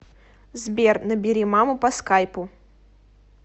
сбер набери маму по скайпу